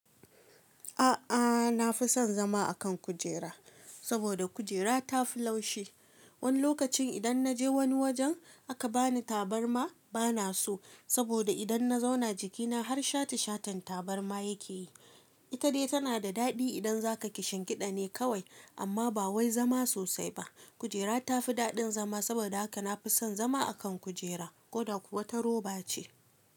A'a, na fi son zama a kan kujera saboda kujera ta fi laushi. Wani lokacin idan na je wani wajen aka ba ni tabarma bana so saboda idan na zauna jikina har shate shaten tabarma ya ke yi. Ita dai tana da daɗi idan za ka ci shinkida ne kawai amma ba wai zama sosai ba. Kujera ta fi daɗin zama saboda haka na fi son zama a kan kujera ko da kuwa ta roba ce.